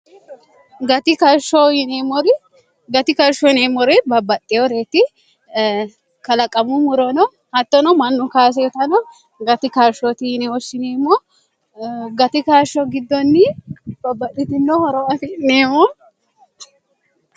gati kashsho yineemmore babbaxxehoreeti kalaqamu muroono hattono mannu kaaseotano gati karshooti yinehoshshineemmo gati kashsho giddoonni babbadhitino horo afi neemoo